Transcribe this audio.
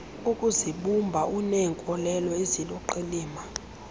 ukuzibumba uneenkolelo eziluqilima